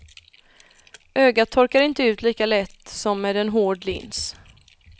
Ögat torkar inte ut lika lätt som med en hård lins.